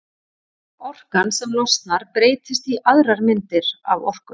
Orkan sem losnar breytist í aðrar myndir af orku.